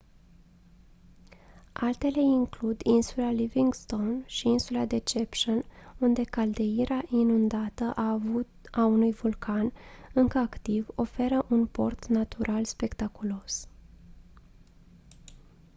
altele includ insula livingstone și insula deception unde caldeira inundată a unui vulcan încă activ oferă un port natural spectaculos